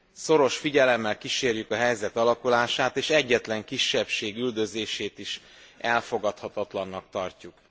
Szoros figyelemmel kísérjük a helyzet alakulását, és egyetlen kisebbség üldözését is elfogadhatatlannak tartjuk.